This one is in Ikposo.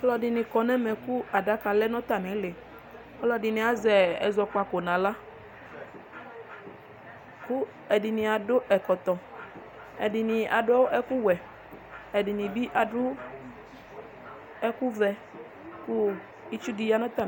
Alɔdini kɔnʋ ɛmɛ kʋ adaka lɛnʋ atami iili ɔlɔdini azɛ ɛzɔkpako nʋ aɣla kʋ ɛdini adʋ ɛkɔtɔ ɛdini adʋ ɛkʋwɛ ɛdini bi adʋ ɛkʋvɛ itsu di yanʋ atami ɛtʋ